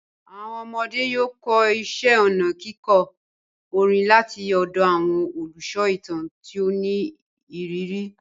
Àwọn ọmọdé yóò kọ́ iṣẹ́ ọnà kíkọ orin láti ọ̀dọ̀ àwọn olùsọ ìtàn tí ó ní ìrírí.